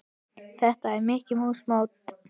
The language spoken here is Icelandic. Er þetta Mikka mús mót?